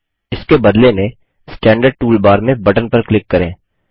इसके बदले में स्टैन्डर्ड टूल बार में बटन पर क्लिक करें